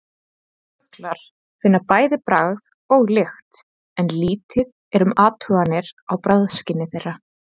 Fuglar finna bæði bragð og lykt en lítið er um athuganir á bragðskyni þeirra.